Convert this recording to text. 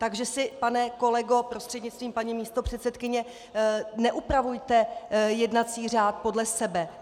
Takže si, pane kolego prostřednictvím paní místopředsedkyně, neupravujte jednací řád podle sebe.